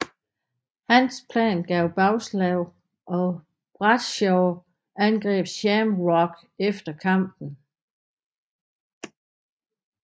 Hans plan gav bagslag og Bradshaw angreb Shamrock efter kampen